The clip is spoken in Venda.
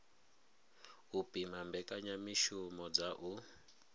u pima mbekanyamishumo dza u